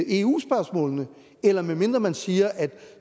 eu spørgsmålene eller medmindre man siger at